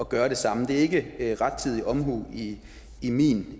gøre det samme det er ikke rettidig omhu i min